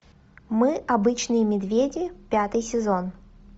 мы обычные медведи пятый сезон